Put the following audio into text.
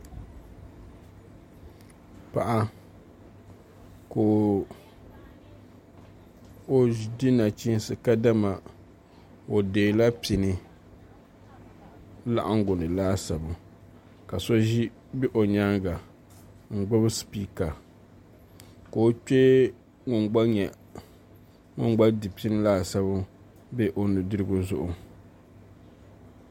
Paɣa ka o di nachiinsi kadama o deela pini laŋangu ni laasabu ka so bɛ o nyaanga n gbubi spiika ka o kpee ŋun gba di pini laasabu bɛ o nudirigu zuɣu